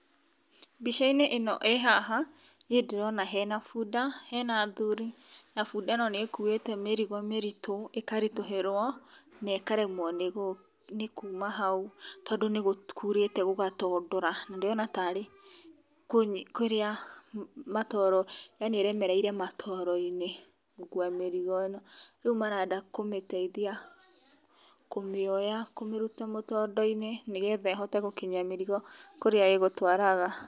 Mbica inĩ ĩno ĩ haha niĩ ndĩrona hena bunda hena athuri. Na bunda ĩno nĩkuĩte mĩrigo mĩritũ ĩkaritũhĩrwo na ĩkaremwo nĩ kuma hau, tondũ nĩ kũrĩte gũgatondora, ndĩrona ta rĩ kĩrĩa matoro yaani ĩremereire matoro-inĩ gũkua mĩrigo ĩno. Rĩu marenda kũmĩteithia, kũmĩoya kũmĩruta mũtondo-inĩ, nĩgetha ĩhote gũkinyia mĩrigo kũrĩa ĩgũtwaraga.